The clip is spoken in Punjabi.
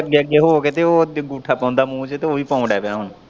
ਅੱਗੇ ਅੱਗੇ ਹੋ ਕੇ ਤੇ ਅੰਗੂਠਾ ਪਾਉਂਦਾ ਮੂੰਹ ਚ ਓਹੀ ਪਾਣ ਡੈਹ ਪਿਆ ਹੁਣ।